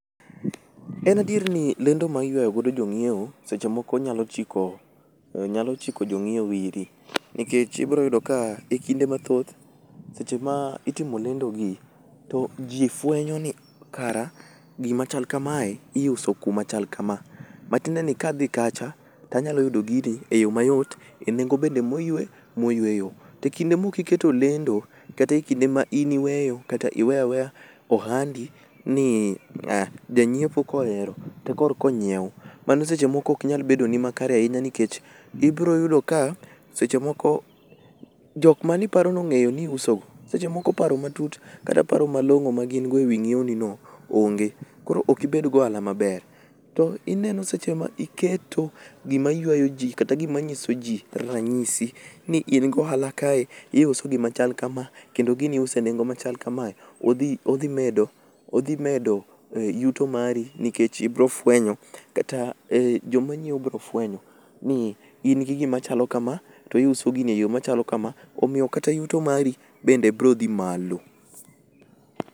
En adier ni lendo ma iywayo godo jong'ieo, seche moko nyalo chiko, uh nyalo chiko jong'iew iri, nikech ibroyudo ka e kinde mathoth seche ma itimo lendo gi to jii fwenyo ni kara gima chal kamae iuso kuma chal kama. Matiendeni kadhi kacha tanyalo yudo gini e yo mayot e nengo be moyue, moyueyo. Tekinde mok iketo lendo, kata e kinde ma in iweyo kata iweyaweya ohandi ni janyiepo kohero te korko onyiew, mano seche moko nyalo bedo ni makare ahinya nikech ibroyudo ka seche moko, jok maniparo ni ong'eyo ni iuso, seche moko paro matut kata paro malong'o magin go ewi ng'iewni no onge, koro ok ibed goala maber. To ineno seche ma iketo gimaywayo jii kata gima nyiso jii ranyisi ni in gohala kae, iuso gima chal kama kendo gini iuso e nengo machal kamae, odhi odhimedo odhimedo uh yuto mari nikech ibrofwenyo kata uh jomanyiew brofwenyo ni in gi gima chalo kama to iuso gini eyo machalo kama, omiyo kata yuto mari bende brodhii malo